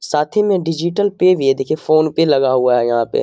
साथ ही मे डिजिटल पे भी है देखिये फोन पे लगा हुआ है यहाँ पे --